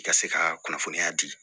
I ka se ka kunnafoniya di